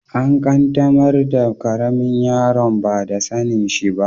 An qaddamar da karemin yaron ba da sanin shi ba.